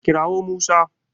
Kira wo Musa